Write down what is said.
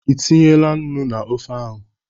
Ị tinyela nnu na ofe ahụ?